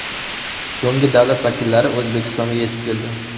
So‘nggi davlat vakillari O‘zbekistonga yetib keldi.